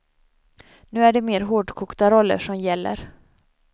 Nu är det mer hårdkokta roller som gäller.